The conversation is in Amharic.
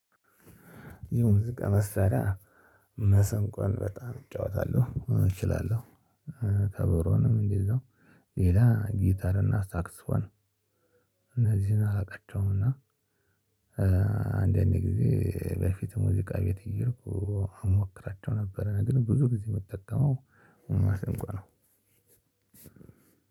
የ ሙዚቃ መስጠት መሰንቆን በጣም እጫወታለሁ እችላለሁ። ከበሮንም እንደዛው ሌላ ጊታርና ሳክስፎን እነዚህን አላቃቸውምና። አንዳንዴ ጊዜ በፊት ሙዚቃ ቤት እየሄድኩ እሞክራቸው ነበር። ግን ብዙ ጊዜ የምጠቀመው መሰንቆ ነው።